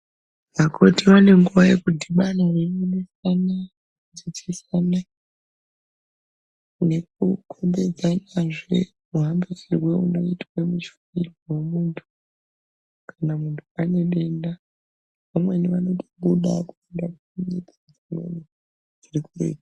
Vakoti vanenguwa yekuti vanooungana vachidzidzisana nekukombedzanazve muhambiSirwe unoizwe muchini wemuntu kana muntu ane denda vamweni vanotobuda kuenda kunyika dzimweni dziri kuretu.